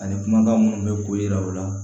Ani kumakan munnu bɛ ko yira u la